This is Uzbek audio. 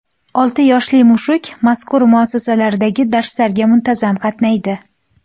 Olti yoshli mushuk mazkur muassasalardagi darslarga muntazam qatnaydi.